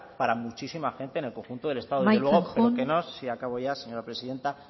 para muchísima gente en el conjunto del estado amaitzen joan acabo ya señora presidenta